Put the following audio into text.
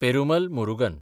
Perumal Murugan